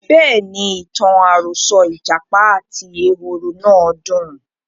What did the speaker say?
Bẹ́ẹ̀ni, ìtàn àròsọ ìjàpá àti ehoro náà dùn.